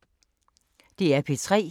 DR P3